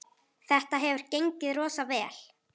Þetta hefur gengið rosa vel.